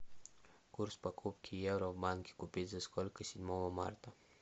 курс покупки евро в банке купить за сколько седьмого марта